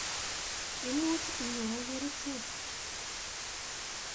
Imuch inyae kerichek.